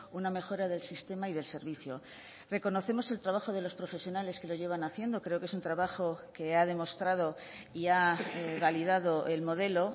una mejora del sistema y del servicio reconocemos el trabajo de los profesionales que lo llevan haciendo creo que es un trabajo que ha demostrado y ha validado el modelo